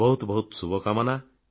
ବହତୁ ବହତୁ ଶୁଭକାମନା